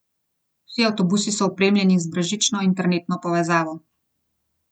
Vsi avtobusi so opremljeni z brezžično internetno povezavo.